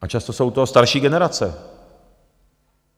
A často jsou to starší generace.